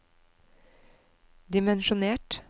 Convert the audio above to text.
dimensjonert